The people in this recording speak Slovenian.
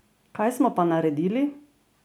Kaj smo pa naredili?